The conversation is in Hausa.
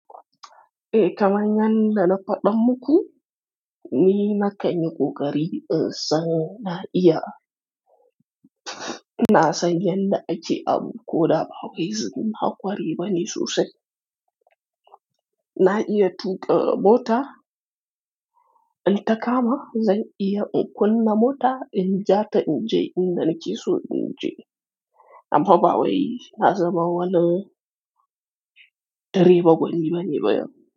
Eh, kaman yadda na faɗa muku, ni na kan yi ƙoƙari in san na iya. Na san yadna ake abu ko da ba wai zan haƙware bane sosai. Na iya tuƙa mota, in ta kama zan iya in kunna mota, in ja ta in je inda nake so in je. Amma ba wai na zama wani direba gwani bane ba yau.